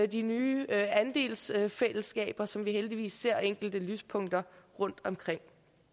de nye andelsfællesskaber som vi heldigvis ser som enkelte lyspunkter rundtomkring